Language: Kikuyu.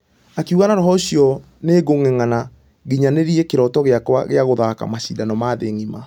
Akĩuga Na roho ũcio nĩgũngengana nginyanĩrie kĩroto gĩakwa gĩa gũthaka mashidano ma thĩ ngima.